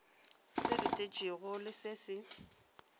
se letetšwego le se se